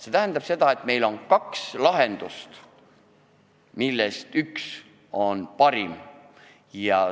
See tähendab seda, et meil on kaks lahendust, millest üks on parim.